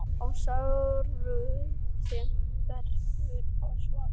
Sjáaldrið, sem venjulegast er svart, verður grátt.